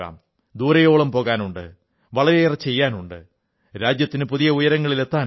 ദൂരമേറെ പോകാനുണ്ട് വളരെയേറെ ചെയ്യാനുണ്ട് രാജ്യത്തിന് പുതിയ ഉയരങ്ങളിൽ എത്താനുണ്ട്